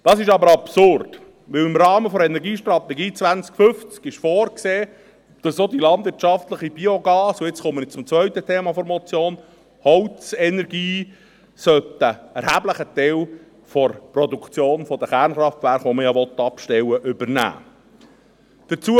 Das ist aber absurd, denn im Rahmen der Energiestrategie 2050 ist vorgesehen, dass auch die landwirtschaftliche Biogas- und – jetzt komme ich zum zweiten Thema der Motion – Holzenergie einen erheblichen Teil der Produktion der Kernkraftwerke, die man ja abstellen will, übernehmen sollte.